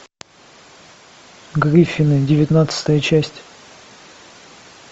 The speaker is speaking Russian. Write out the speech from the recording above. гриффины девятнадцатая часть